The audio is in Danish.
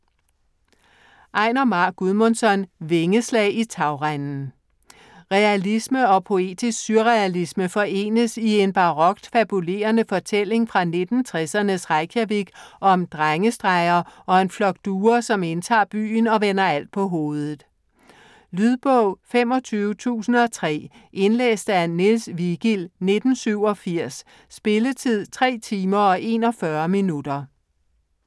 Einar Már Guðmundsson: Vingeslag i tagrenden Realisme og poetisk surrealisme forenes i en barokt fabulerende fortælling fra 1960'ernes Reykjavik om drengestreger og en flok duer, som indtager byen og vender alt på hovedet. Lydbog 25003 Indlæst af Niels Vigild, 1987. Spilletid: 3 timer, 41 minutter.